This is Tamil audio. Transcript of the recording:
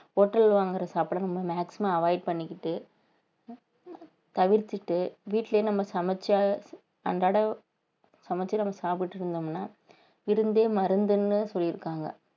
hotel வாங்குற சாப்பாடை நம்ம maximum avoid பண்ணிக்கிட்டு தவிர்த்திட்டு வீட்டிலேயே நம்ம சமைச்சு அன்றாடம் சமெச்சு நம்ம சாப்பிட்டுட்டு இருந்தோம்ன்னா விருந்தே மருந்துன்னு சொல்லியிருக்காங்க